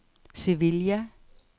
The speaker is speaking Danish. Sevilla